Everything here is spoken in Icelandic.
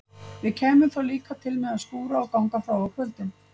Við kæmum þá líka til með að skúra og ganga frá á kvöldin?